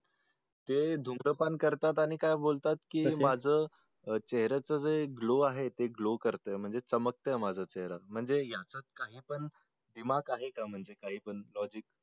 ते धूम्रपान करतात आणि काय बोलतात की माझ चेहऱ्याचं जे glow आहे ते glow करतंय म्हणजे चमकतंय माझा चेहरा म्हणजे यांच्यात काही पण दिमाग आहे का? म्हणजे काही पण logic